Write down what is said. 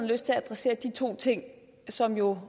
lyst til at adressere de to ting som jo